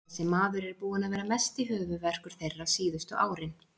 Þessi maður er búinn að vera mesti höfuðverkur þeirra síðustu árin.